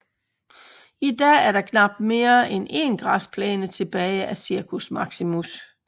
I dag er der knapt mere end en græsplæne tilbage af Circus Maximus